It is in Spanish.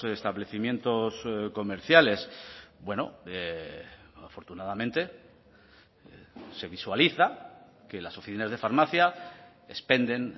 establecimientos comerciales bueno afortunadamente se visualiza que las oficinas de farmacia expenden